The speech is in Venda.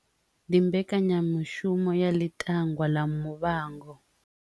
Ndi mbekanyamaitele ya ḽi tangwa ḽa muvhango.